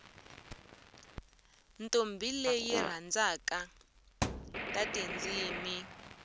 ntombi leyi yirhandza tatindzimi